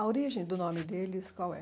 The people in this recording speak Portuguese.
A origem do nome deles, qual é?